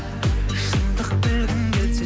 шындық білгің келсе